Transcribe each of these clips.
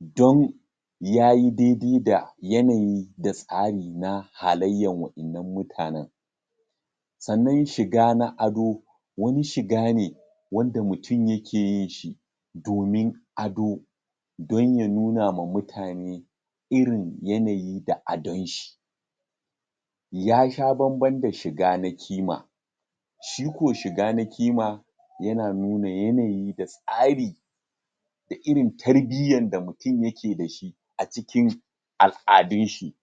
don yayi dai-dai da yanayi, da tsari na halayyan wa'innan mutanen. Sannan shiga na ado, wani shiga ne wanda mutum yake yin shi domin ado, don ya nuna ma mutane irin yanayi, da adon shi, yasha bamban da shiga na kima. Shi ko shiga na kima, yana nuna yanayi da tsari, da irin tarbiyyan da mutum yake dashi a cikin al'adun shi.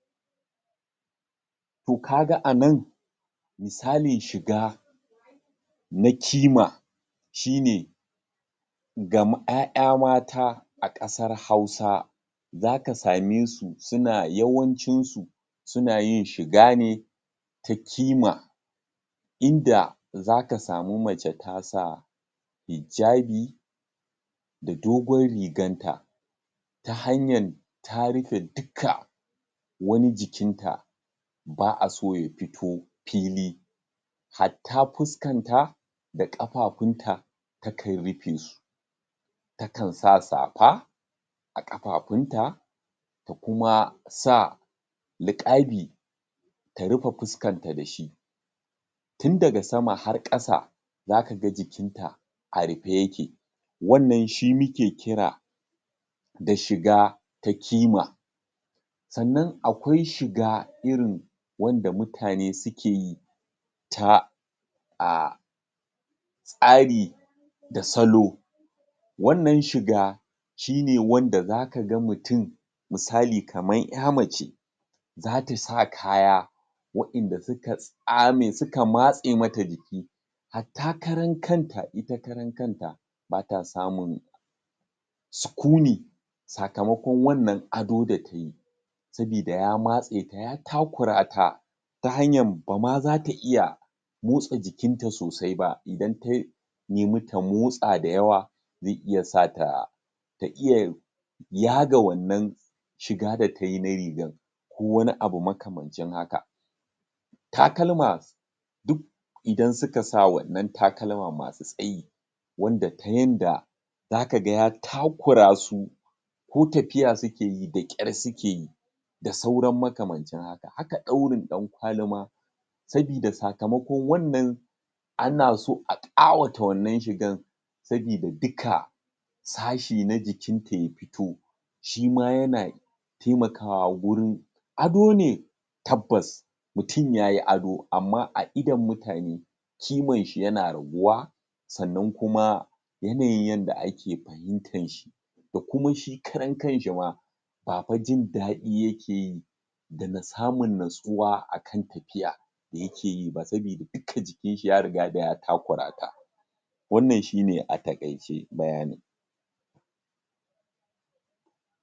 To, kaga a nan misalin shiga na kima, shine ga ƴaƴa mata a ƙasar hausa, za ka same su yawancin su suna yin shiga ne ta kima, inda za ka samu mace ta sa hijjabi, da dogon rigan ta, ta hanyan ta rufe ta rufe duka wani jikin ta, ba a so ya fito fili. Hatta fuskanta da ƙafafun ta, ta kan rufe su. Ta kan sa safa a ƙafafun ta, da kuma sa liƙabi ta rufe fuskanta dashi. Tun daga sama har ƙasa, za kaga jikinta a rufe yake. Wannan shi muke kira da shiga ta kima. Sannan akwai shiga irin wanda mutane suke yi, ta um tsari da salo, wannan shiga shine wanda za kaga mutum, misali kaman ƴa mace za ta sa kaya wa'inda suka matse mata jiki, hatta karan kanta ita karan kanta bata samun sukuni, sakamakon wannan ado da tayi, sabida ya matse ta, ya takura ta, ba ma zata iya motsa jikin ta sosai ba, idan tai nemi ta motsa da yawa zai iya sa ta ta iya yaga wannan shiga da tayi na rigan, ko wani abu makamancin haka. Takalma duk idan suka sa wannan takalma masu tsayi, wanda ta yanda za kaga ya takura su, ko tafiya suke yi da ƙyar suke yi, da sauran makamancin haka. haka ɗaurin ɗankwali ma, sabida sakamakon wannan ana so a ƙawata wannan shigan, sabida duka sashi na jikinta ya fito, shima yana taimakawa gurin ado ne tabbas, mutum yayi ado, amma a idon mutane kiman shi yana raguwa, sannan kuma yanayin yanda ake fahimtan shi da kuma shi karan kanshi ma, ba fa jin daɗi yake yi da na samun natsuwa a kan tafiya yake yi ba, sabida duka jikin shi ya riga da ya takura ta. Wannan shine a taƙaice bayanin.